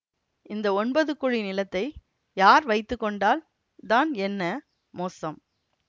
இந்த ஒன்பது குழி நிலத்தை யார் வைத்து கொண்டால் தான் என்ன மோசம்